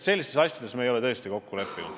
Sellistes asjades me ei ole tõesti kokku leppinud.